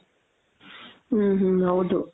ಹ್ಮ್ ಹ್ಮ್ ಹೌದು .